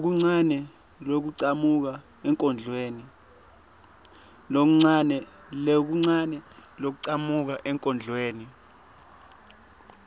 lokuncane lokuchamuka enkondlweni